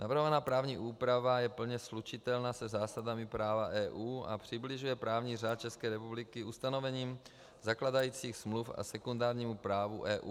Navrhovaná právní úprava je plně slučitelná se zásadami práva EU a přibližuje právní řád České republiky ustanovením zakládajících smluv a sekundárnímu právu EU.